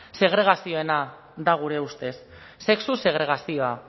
segregazioarena da gure ustez sexu segregazioa